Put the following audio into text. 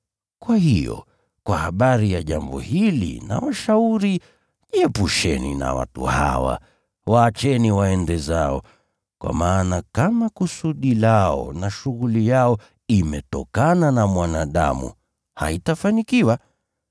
Kwa hiyo, kwa habari ya jambo hili nawashauri, jiepusheni na watu hawa. Waacheni waende zao! Kwa maana kama kusudi lao na shughuli yao imetokana na mwanadamu, haitafanikiwa.